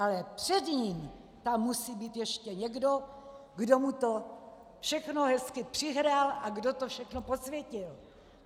Ale před ním tam musí být ještě někdo, kdo mu to všechno hezky přihrál a kdo to všechno posvětil.